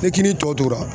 Ni kini tɔ tora